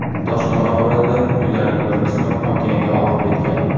Toshqin oqibatida uylarning bir qismi okeanga oqib ketgan.